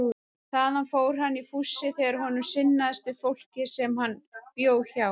Þaðan fór hann í fússi þegar honum sinnaðist við fólkið sem hann bjó hjá.